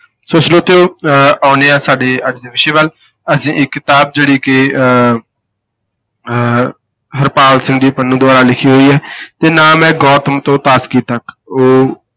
ਸੋ ਸਰੋਤਿਓ ਅਹ ਆਉਂਦੇ ਹਾਂ ਸਾਡੇ ਅੱਜ ਦੇ ਵਿਸ਼ੇ ਵੱਲ ਅਸੀਂ ਇੱਕ ਕਿਤਾਬ ਜਿਹੜੀ ਕਿ ਅਹ ਅਹ ਹਰਪਾਲ ਸਿੰਘ ਜੀ ਪੰਨੂ ਦੁਬਾਰਾ ਲਿਖੀ ਹੋਈ ਹੈ ਤੇ ਨਾਮ ਹੈ ਗੋਤਮ ਤੋਂ ਤਾਸਕੀ ਤੱਕ, ਉਹ